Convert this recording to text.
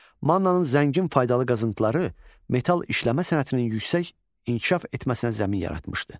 Mannanın zəngin faydalı qazıntıları metal işləmə sənətinin yüksək inkişaf etməsinə zəmin yaratmışdı.